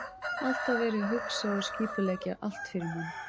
Alltaf verið að hugsa og skipuleggja allt fyrir mann.